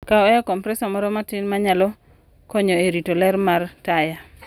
Kaw air compressor moro matin ma nyalo konyo e rito ler mar taya.